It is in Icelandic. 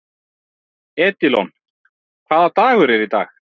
Edílon, hvaða dagur er í dag?